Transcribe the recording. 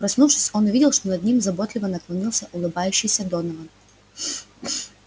проснувшись он увидел что над ним заботливо наклонился улыбающийся донован